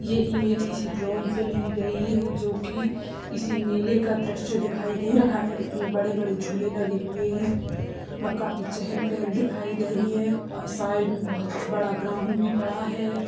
यह इमेज किसी ड्रोन से ली गई है जो कि किसी मेले का द्रश्य दिखाई दे रहा है एक मे बड़े बड़े झूले लगे हुए है और काफी चहल पहल दिखाईं दे रही है और साइड मे बहुत बड़ा ग्राउन्ड भी पड़ा है।